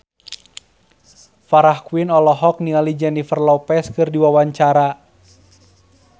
Farah Quinn olohok ningali Jennifer Lopez keur diwawancara